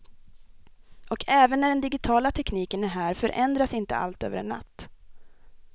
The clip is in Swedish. Och även när den digitala tekniken är här förändras inte allt över en natt.